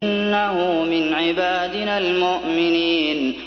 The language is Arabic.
إِنَّهُ مِنْ عِبَادِنَا الْمُؤْمِنِينَ